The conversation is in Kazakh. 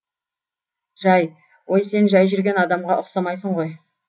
жай ой сен жай жүрген адамға ұқсамайсың ғой